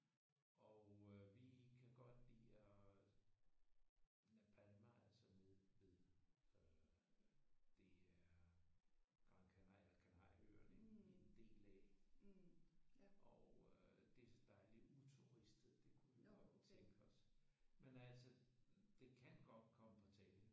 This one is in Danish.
Og øh vi kan godt lide at La Palma altså nede ved øh det er Gran Canaria eller Kanarieøerne en del af og øh det er så dejligt uturistet. Det kunne vi godt tænke os. Men altså den kan godt komme på tale